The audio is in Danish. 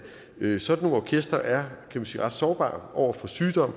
sådan nogle orkestre er ret sårbare over for sygdom